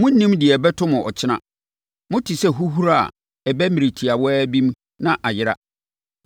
Monnim deɛ ɛbɛto mo ɔkyena: Mote sɛ huhuro a ɛba mmerɛ tiawa bi na ayera.